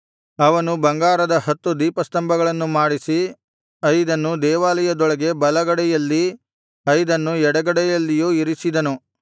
ಅವನು ಬಂಗಾರದ ಹತ್ತು ದೀಪಸ್ತಂಭಗಳನ್ನು ಮಾಡಿಸಿ ಐದನ್ನು ದೇವಾಲಯದೊಳಗೆ ಬಲಗಡೆಯಲ್ಲಿ ಐದನ್ನು ಎಡಗಡೆಯಲ್ಲಿಯೂ ಇರಿಸಿದನು